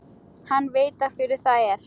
Hann veit af hverju það er.